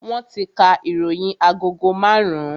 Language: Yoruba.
Wọn ti ka ìròyìn agogo marun-un